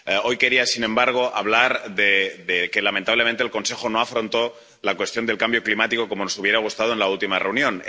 Hoy quería, sin embargo, hablar de que lamentablemente el Consejo no afrontó la cuestión del cambio climático como nos hubiera gustado en la última reunión.